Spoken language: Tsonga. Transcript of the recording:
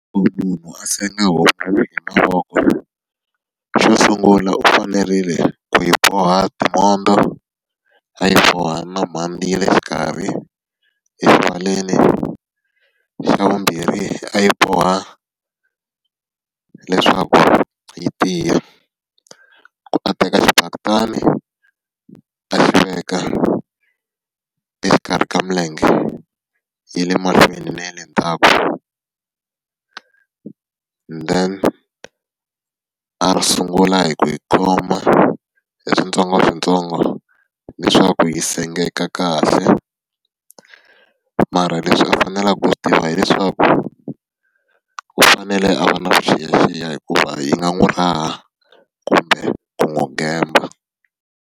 Munhu a senga homu mavoko. Xo sungula u fanerile ku yi boha timhondzo, a yi boha na mhandzi ya le xikarhi, . Xa vumbirhi a yi boha leswaku yi tiya. U a teka xibaketani a xi veka exikarhi ka milenge ya le mahlweni na ya le ndhawu. Then a sungula hi ku yi khoma hi switsongoswintsongo leswaku yi sengeka kahle. Mara leswi a faneleke ku swi tiva hileswaku, u fanele a va na vuxiyaxiya hikuva yi nga n'wi raha kumbe ku n'wi gemba.